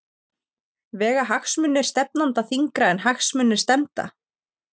Vega hagsmunir stefnanda þyngra en hagsmunir stefnda?